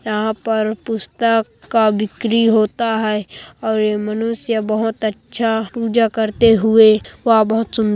यहाँ पर पुस्तक का बिक्री होता है और यह मनुष्य बहोत अच्छा पूजा करते हुए वह बहोत सुंद--